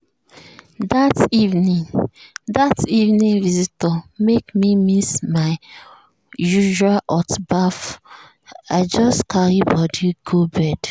that evening visitor make me miss my usual hot baff i just carry body go bed.